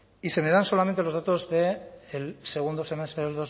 y se me dan solamente los datos del segundo semestre